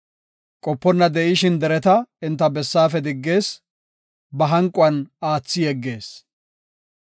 Qoponna de7ishin dereta enta bessaafe diggees; ba hanquwan aathidi yeggees.